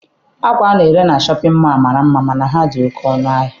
Akwa ana-ere na Shọpịn mọọ mara mma mana ha dị oke ọnụ ahịa.